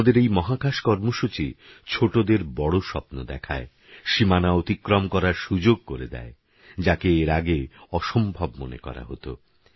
আমাদেরএইমহাকাশকর্মসূচি ছোটদেরবড়স্বপ্নদেখায় সীমানাঅতিক্রমকরারসুযোগকরেদেয় যাকেএরআগেঅসম্ভবমনেকরাহতো